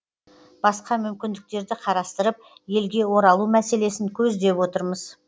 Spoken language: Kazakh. басқа мүмкіндіктерді қарастырып елге оралу мәселесін көздеп отырмыз